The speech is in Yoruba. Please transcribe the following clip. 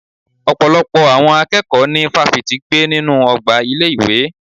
Ọ̀pọ̀lọpọ̀ àwọn akẹ́kọ̀ọ́ ní fáfitì gbé nínú ọgbà ilé ìwé.